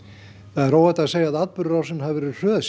það er óhætt að segja að atburðarásin hafi verið hröð